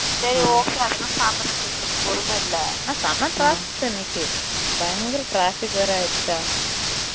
சரி okay அதுலாம் சாப்ட எங்களுக்கு பொறுமையே இல்லை ஆனா செம்ம traffic அன்னைக்கி பயன்குற traffic வேற ஆயிருச்சா